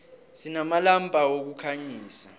sinamalampa wokukhanyisa